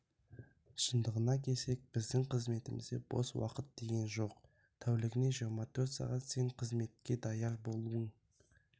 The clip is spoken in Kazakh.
шындығына келсек біздің қызметімізде бос уақыт деген жоқ тәулігіне жиырма төрт сағат сен қызметке даяр болуын